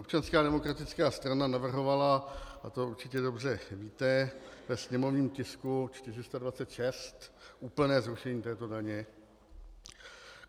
Občanská demokratická strana navrhovala, a to určitě dobře víte, ve sněmovním tisku 426 úplné zrušení této daně.